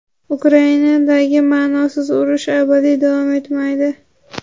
Ukrainadagi "ma’nosiz urush" abadiy davom etmaydi.